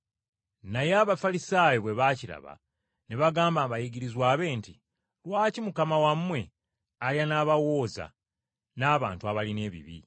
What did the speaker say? Naye Abafalisaayo bwe baakiraba, ne bagamba abayigirizwa be nti, “Lwaki Mukama wammwe alya n’abawooza n’abantu abalina ebibi?”